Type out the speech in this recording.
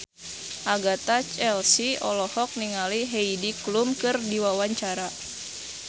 Agatha Chelsea olohok ningali Heidi Klum keur diwawancara